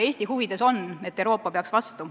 Eesti huvides on, et Euroopa peaks vastu.